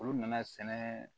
Olu nana sɛnɛ